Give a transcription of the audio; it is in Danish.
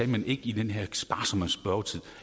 men ikke i den her sparsomme spørgetid